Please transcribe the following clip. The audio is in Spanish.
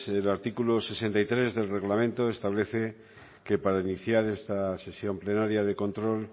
el artículo sesenta y tres del reglamento establece que para iniciar esta sesión plenaria de control